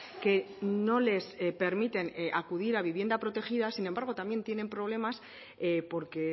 que no les permiten acudir a vivienda protegida sin embargo también tiene problemas porque